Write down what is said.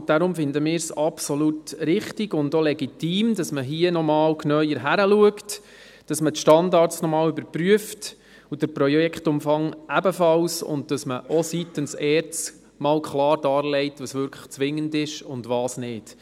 Darum finden wir es absolut richtig und legitim, dass man hier nochmals genauer hinschaut, dass man die Standards nochmals überprüft, ebenso den Projektumfang, und dass man seitens der ERZ auch klar dargelegt, was wirklich zwingend ist und was nicht.